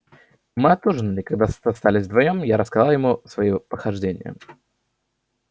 мы отужинали и когда остались вдвоём я рассказал ему свои похождения